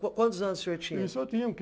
Quantos anos o senhor tinha? Isso eu tinha o quê